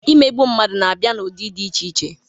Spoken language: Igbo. Imegbu mmadụ na-abịa n'ụdị dị iche iche.